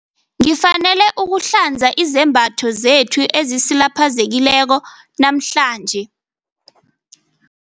Ngifanele ukuhlanza izembatho zethu ezisilapheleko namhlanje.